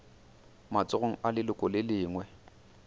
matsogong a leloko le lengwe